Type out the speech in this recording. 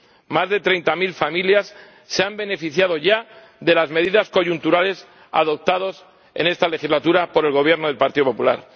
Más de treinta mil familias se han beneficiado ya de las medidas coyunturales adoptadas en esta legislatura por el Gobierno del Partido Popular.